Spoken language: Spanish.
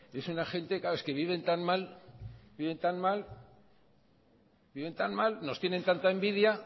es una gente claro es que viven tan mal nos tienen tanta envidia